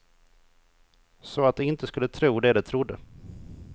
Så att de inte skulle tro det de trodde.